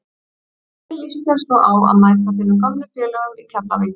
Hvernig lýst þér svo á að mæta þínum gömlu félögum í Keflavík?